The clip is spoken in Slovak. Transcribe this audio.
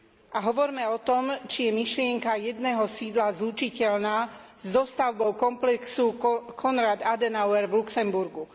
A hovorme o tom, či je myšlienka jedného sídla zlučiteľná s dostavbou komplexu Konrad Adenauer v Luxemburgu.